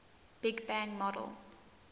big bang model